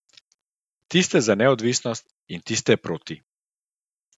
Tiste za neodvisnost in tiste proti.